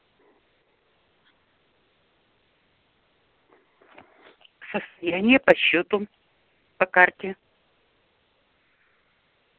состояние по счету по карте